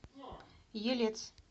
елец